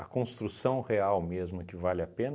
construção real mesmo é que vale a pena,